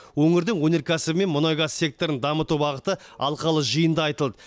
өңірдің өнеркәсібі мен мұнай газ секторын дамыту бағыты алқалы жиында айтылды